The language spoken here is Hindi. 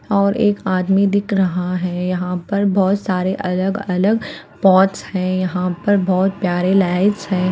और एक आदमी दिख रहा है यहाँ पर बहुत सारे अलग अलग पॉट्स है यहाँ पर बहुत प्यारे लाइट्स है।